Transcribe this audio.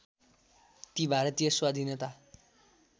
ती भारतीय स्वाधीनता